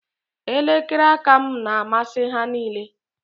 Elekere aka m na-amasị ha niile